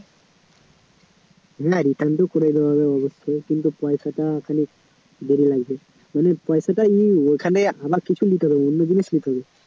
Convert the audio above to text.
না return তো করে দেওয়া যাবে কিন্তু পয়সাটা তো ওখানে বেরিয়ে গেছে পয়সা তো নিয়ে ওখানে কিছু নিতে হবে অন্য জিনিস নিতে হবে